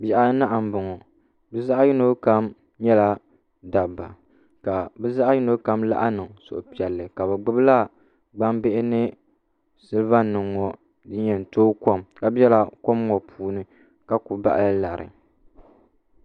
Bihi anahi n boŋo bi zaɣ yino kam nyɛla dabba ka bi zaɣ yino kam laɣam niŋ suhupiɛlli ka bi gbubila gbambihi ni silba nim ŋo n yɛn tooi kom ka biɛla kom ŋo puuni ka ku baɣala lari